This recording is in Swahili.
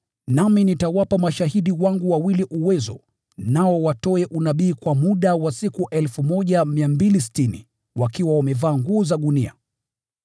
Nami nitawapa mashahidi wangu wawili uwezo, nao watoe unabii kwa muda wa siku 1,260, wakiwa wamevaa nguo za gunia.”